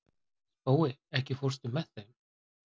Spói, ekki fórstu með þeim?